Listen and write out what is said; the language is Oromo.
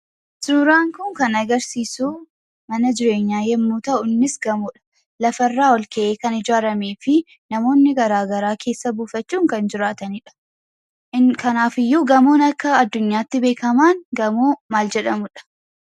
Suuraan kun kan agarsiisu mana jireenyaa yemmuu ta'u innis gamoodha. Lafarraa ol ka'ee kan ijaaramee fi namoonni garaa garaa keessa buufachuun kan jiraatanidha. Kanaafiyyuu gamoon akka addunyaatti beekamaan gamoo maal jedhamudha?